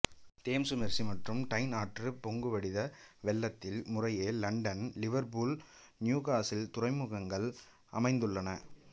Thames Mersey மற்றும் Tyne ஆற்று பொங்குவடித வெள்ளத்தில் முறையே இலண்டன் லிவர்ப்பூல் நியூகாசில் துறைமுகங்கள் அமைந்துள்ளன